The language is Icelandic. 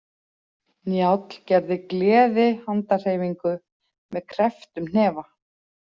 Njáll gerði gleðihandarhreyfingu með krepptum hnefa.